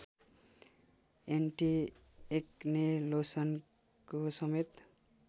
anti-acne लोसनको समेत